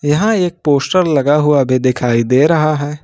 यहां एक पोस्टर लगा हुआ अभी दिखाई दे रहा है।